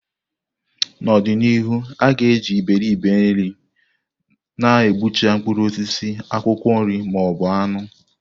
N'ọdị n'ihu, a ga-eji Iberibe-nri na-egbucha mkpụrụ osisi, akwụkwọ nri, ma ọ bụ anụ.